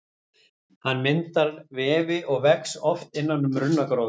Hann myndar vefi og vex oft innan um runnagróður.